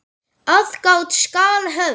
Aðgát skal höfð.